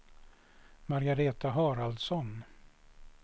Margareta Haraldsson